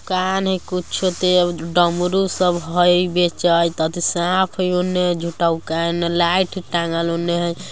कान हई कुछो त अउ डमरू सब हई बेचैत अथी साँप हई ओने झूठा गो के आ एने लाइट हई टाँगल | ओने हई --